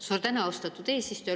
Suur tänu, austatud eesistuja!